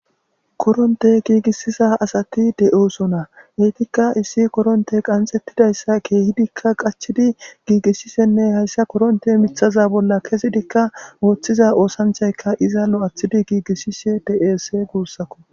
Koronttey gigisiza asati de'ossona ettika issi koronttey qanxxetidayssa kehidikka qachidi giigisishenne hayssa korontteza miththa bolla kezzidika othiza oththanchaykka iizza lo'athidi gigisishe de'es guusako.